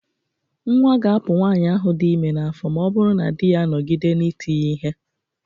Nnwa ga-apụ nwaanyị ahụ dị ime n'afọ ma ọ bụrụ na di ya anọgide na ị ti ya ihe.